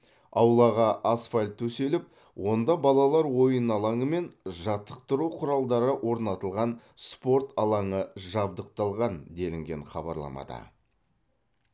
аулаға асфальт төселіп онда балалар ойын алаңы мен жаттықтыру құралдары орнатылған спорт алаңы жабдықталған делінген хабарламада